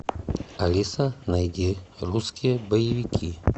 алиса найди русские боевики